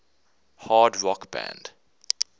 hard rock band